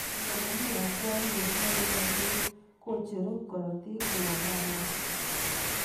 Eng komami akwayet nebo iotet kocheru karotik Rwondo ab moo.